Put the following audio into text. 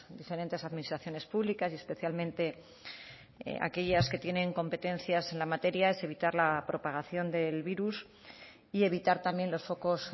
diferentes administraciones públicas y especialmente aquellas que tienen competencias en la materia es evitar la propagación del virus y evitar también los focos